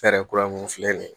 Hɛrɛ kura mun filɛ nin ye